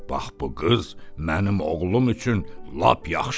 Bax bu qız mənim oğlum üçün lap yaxşıdır.